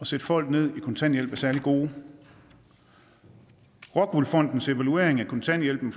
sætte folk ned i kontanthjælp er særlig gode rockwool fondens evaluering af kontanthjælpen